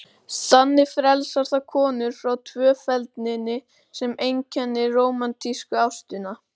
Þannig frelsar það konur frá tvöfeldninni sem einkenndi rómantísku ástina.